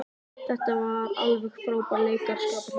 Þetta var alveg frábær leikaraskapur hjá henni.